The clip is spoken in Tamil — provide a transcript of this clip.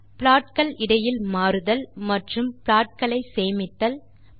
ப்ளாட் கள் இடையில் மாறுதல் மற்றும் ப்ளாட் களை சேமித்தல் போல சில வேலைகள் செய்தல்